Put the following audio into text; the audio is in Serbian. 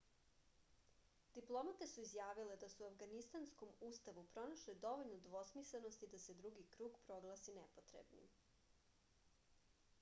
diplomate su izjavile da su u avganistanskom ustavu pronašle dovoljno dvosmislenosti da se drugi krug proglasi nepotrebnim